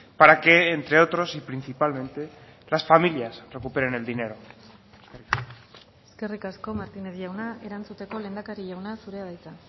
para que entre otros y principalmente las familias recuperen el dinero eskerrik asko martínez jauna erantzuteko lehendakari jauna zurea da hitza